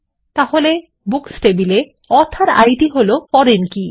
তাহলে বুকস টেবিলে author ID হলো ফরেন কী